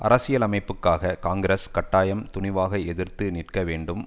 அரசியலமைப்புக்காக காங்கிரஸ் கட்டாயம் துணிவாக எதிர்த்து நிற்க வேண்டும்